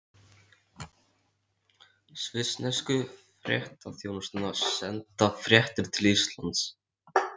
Svissnesku fréttaþjónustuna, senda fréttir til Íslands.